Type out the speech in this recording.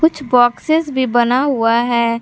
कुछ बॉक्सेस भी बना हुआ है।